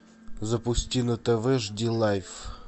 запусти на тв жди лайф